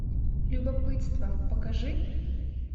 любопытство покажи